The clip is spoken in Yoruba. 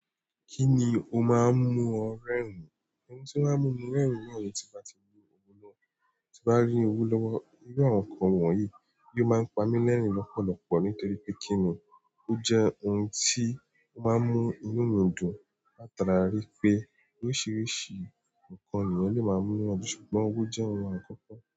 Kíni o máa ń mú ọ rẹ́rìn-ín? Ohun tí ó máa ń mú ẹ́ rẹ́rìn-ín ni ẹni tí bá ti mu ohun náà, tí bá rí owó lọ́wọ́ irú àwọn nǹkan wọ̀nyí, yóò máa ń pami lẹ́rìn-ín lọ́pọ̀lọpọ̀ nítorí pé kíni ó jẹ́ ohun tí ó máa ń mú inú mi dùn, la ta rá rípé oríṣiríṣi nǹkan ni èèyàn lè máa mú nu èèyàn dùn ṣùgbọ́n owó jẹ́ ohun àkọ́kọ́